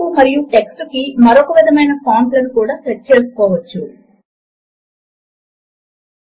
ఇక్కడి tool tip unary లేదా binary operators అని చెపుతుంది